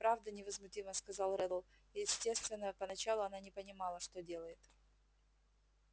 правда невозмутимо сказал реддл естественно поначалу она не понимала что делает